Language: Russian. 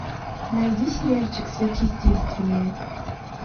найди сериальчик сверхъестественное